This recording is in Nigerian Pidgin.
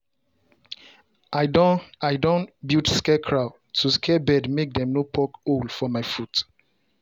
i don i don build scarecrow to scare bird make dem no poke hole for my fruit.